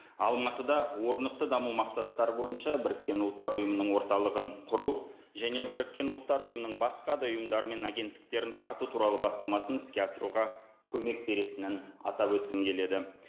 алматыда орнықты даму мақсаттары бойынша біріккен ұлттар ұйымының орталығын құру және біріккен ұлттар ұйымының басқа да ұйымдары мен агенттіктерін тарту туралы бастамасын іске асыруға көмек беретінін атап өткім келеді